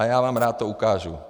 A já vám rád to ukážu.